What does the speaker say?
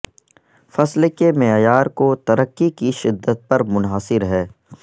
فصل کے معیار کو ترقی کی شدت پر منحصر ہے